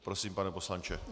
Prosím, pane poslanče.